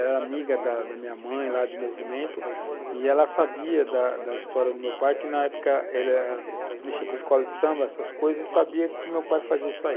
Ela era amiga da da minha mãe, lá de movimento, e ela sabia da história do meu pai, que na época ele mexia com escola de samba, essas coisas, e sabia que o meu pai fazia isso aí.